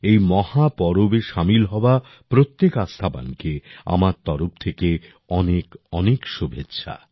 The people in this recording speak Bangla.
এই মহাপর্বে সামিল হওয়া প্রত্যেক আস্থাবানকে আমার তরফ থেকে অনেকঅনেক শুভেচ্ছা